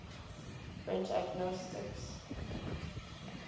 french agnostics